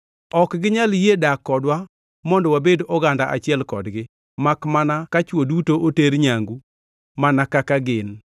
Ok ginyal yie dak kodwa mondo wabed oganda achiel kodgi makmana ka chwo duto oter nyangu mana kaka gin.